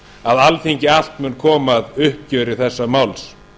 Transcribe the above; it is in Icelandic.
að alþingi allt mun koma að uppgjöri þessa máls